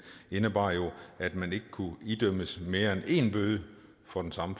jo indebar at man ikke kunne idømmes mere end en bøde for den samme